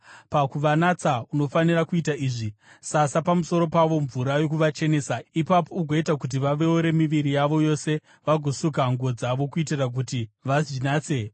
Pakuvanatsa, unofanira kuita izvi: Sasa pamusoro pavo mvura yokuvachenesa; ipapo ugoita kuti vaveure miviri yavo yose vagosuka nguo dzavo, kuitira kuti vazvinatse.